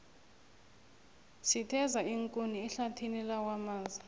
sitheza iinkuni ehlathini lakwamaza